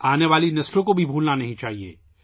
آنے والی نسلوں کو بھی نہیں بھولنا چاہیے